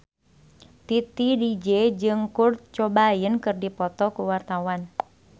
Titi DJ jeung Kurt Cobain keur dipoto ku wartawan